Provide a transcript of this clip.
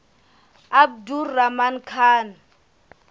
abdur rahman khan